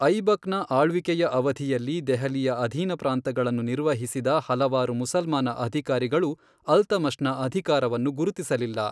ಐಬಕ್ನ ಆಳ್ವಿಕೆಯ ಅವಧಿಯಲ್ಲಿ ದೆಹಲಿಯ ಅಧೀನಪ್ರಾಂತಗಳನ್ನು ನಿರ್ವಹಿಸಿದ ಹಲವಾರು ಮುಸಲ್ಮಾನ ಅಧಿಕಾರಿಗಳು, ಅಲ್ತಮಷ್ನ ಅಧಿಕಾರವನ್ನು ಗುರುತಿಸಲಿಲ್ಲ.